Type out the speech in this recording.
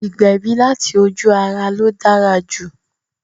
Ìgbẹ̀bí láti ojú-ara ló dára jù